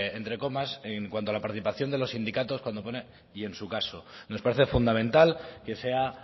entre comas en cuanto a la participación de los sindicatos cuando pone y en su caso nos parece fundamental que sea